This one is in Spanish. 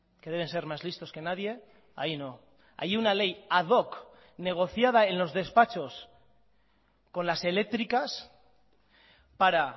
que deben ser más listos que nadie ahí no hay una ley ad hoc negociada en los despachos con las eléctricas para